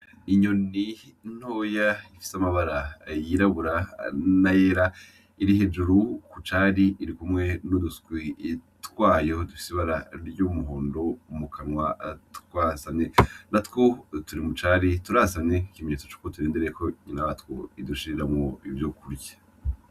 Inyoni ntoya ifise amabara yirabura n'ayera iri hejuru ku cari, irikumwe n'uduswi twayo dufise ibara ry' umuhondo mu kanwa twasamye. Natwo turi mucari turasamye, ikimenyetso c'uko turindiriye ko nyinatwo idushiriramwo ivyo kurya.